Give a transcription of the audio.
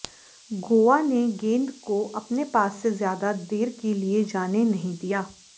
गोवा ने गेंद को अपने पास से ज्यादा देर के लिए जाने नहीं दिया